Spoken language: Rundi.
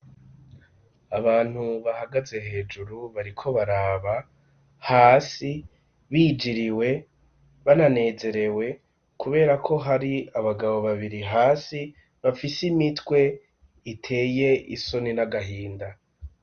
Abantu bahagaze hejuru bariko baraba hasi bijiriwe bananezerewe kubera ko hari abagabo babiri hasi bafise imitwe iteye isoni n'agahinda.